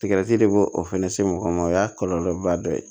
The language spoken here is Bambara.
Tigati de b'o o fana se mɔgɔ ma o y'a kɔlɔlɔba dɔ ye